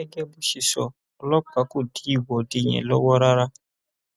gẹgẹ bó ṣe sọ ọlọpàá kò dí ìwọde yẹn lọwọ rárá